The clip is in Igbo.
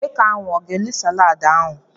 Nwoke ahụ ọ ga-eri salaadi ahụ?